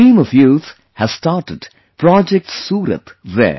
A team of youth has started 'Project Surat' there